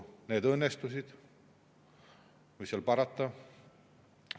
Need õnnestusid, mis seal parata.